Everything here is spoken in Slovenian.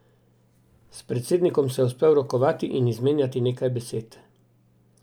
S predsednikom se je uspel rokovati in izmenjati nekaj besed.